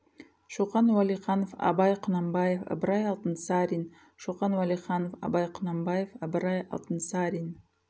шоқан уалиханов абай құнанбаев ыбырай алтынсарин шоқан уалиханов абай құнанбаев ыбырай алтынсарин